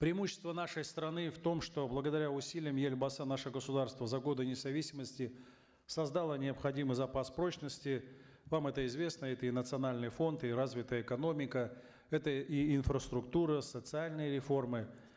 преимущество нашей страны в том что благодаря усилиям елбасы наше государство за годы независимости создало необходимый запас прочности вам это известно это и национальный фонд и развитая экономика это и инфраструктура социальные реформы